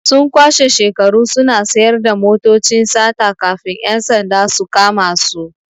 Sun kwashe shekaru suna sayar da motocin sata kafin 'yan sanda su kama su.